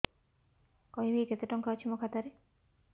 କହିବେକି କେତେ ଟଙ୍କା ଅଛି ମୋ ଖାତା ରେ